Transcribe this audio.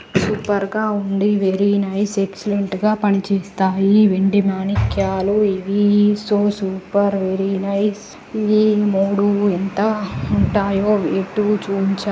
Super గా ఉంది. Very nice excellent గా పనిచేస్తాయి. ఈ వెండి మాణిక్యాలు. ఇవి సో సూపర్ వెరీ నైస్ ఇవి మూడు ఎంత ఉంటాయో రేటు చూంచా--